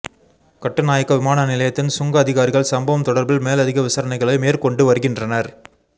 கட்டுநாயக்க விமான நிலையத்தின் சுங்க அதிகாரிகள் சம்பவம் தொடர்பில் மேலதிக விசாரணைகளை மேற்கொண்டு வருகின்றனர்